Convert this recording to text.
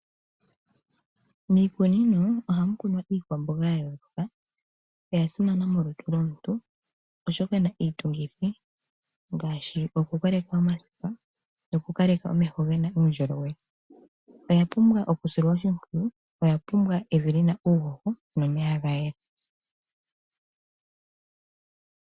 Miikunino ohamu kunwa iikwamboga ya yooloka, oyasimana molutu lyomuntu oshoka iitungithi ngaashi kukoleka omasipa no kukaleka omeho gena uundjolowele, oya pumbwa okusilwa oshimpwiyu, oyapumbwa evi lyina uuhoho no omeya gayela.